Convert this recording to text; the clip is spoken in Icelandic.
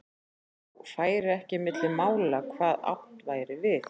Þá færi ekki á milli mála hvað átt væri við.